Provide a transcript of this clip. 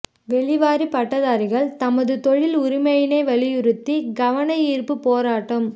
வெளிவாரி பட்டதாரிகள் தமது தொழில் உரிமையினை வலிறுத்தி கவன ஈர்ப்பு போராட்டம்